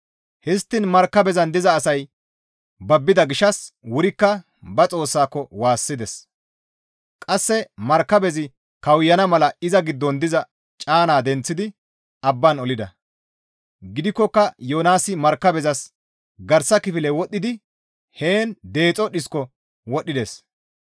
Histtiin markabezan diza asay babbida gishshas wurikka ba xoossaako waassides; qasse markabezi kawuyana mala iza giddon diza caanaa denththidi abbaan olida; gidikkoka Yoonaasi markabezas garsa kifile wodhidi heen deexo dhisko wodhides.